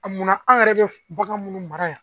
A munna anw yɛrɛ be bagan munnu mara yan.